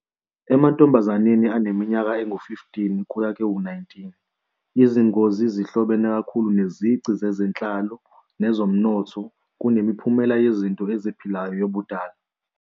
Emantombazaneni aneminyaka engu-15-19, izingozi zihlobene kakhulu nezici zezenhlalo nezomnotho kunemiphumela yezinto eziphilayo yobudala.